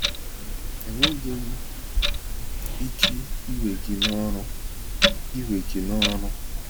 Enweghị m ike ị we ya n'ọrụ! we ya n'ọrụ!